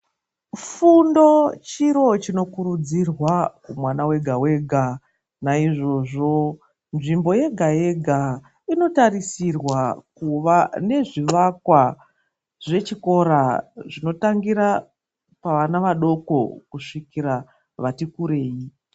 Fundo chiro chinokurudzirwa mwana wega wega naizvozvo nzvimbo yega yega inotarisirwa kuva nezvivakwa zvechikora zvinotangira pavana vadoko kusvikira vati kureyi.